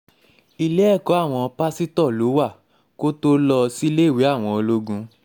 ilé ẹ̀kọ́ àwọn pásítọ̀ um ló wà kó tóo lọ síléèwé um àwọn ológun